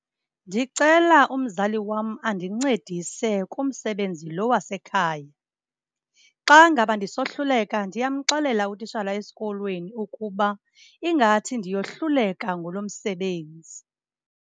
Ndicela umzali wam andincedise kumsebenzi lo wasekhaya. Xa ngaba ndisohluleka ndiyamxelela utishala esikolweni ukuba ingathi ndiyohluleka ngulo msebenzi.